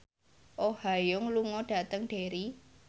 Oh Ha Young lunga dhateng Derry